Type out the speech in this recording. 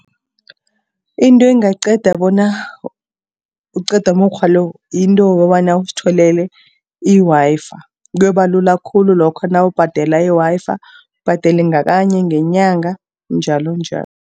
Into engaqeda bona, uqede umukghwa lo, yinto yokobana uzitholele i-Wi-Fi. Kuyokuba lula khulu lokho nawubhadela i-Wi-Fi, ubhadele ngakanye ngenyanga njalonjalo.